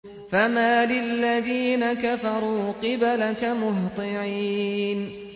فَمَالِ الَّذِينَ كَفَرُوا قِبَلَكَ مُهْطِعِينَ